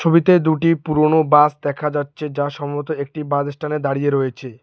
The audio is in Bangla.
ছবিতে দুটি পুরোনো বাস দেখা যাচ্ছে যা সম্ভবত একটি বাস স্ট্যান্ডে দাঁড়িয়ে রয়েছে।